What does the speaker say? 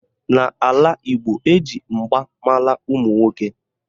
N'ala Igbo, eji mgba mara ụmụnwoke